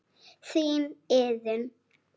Þín, Iðunn.